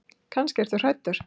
Kannski ertu hræddur.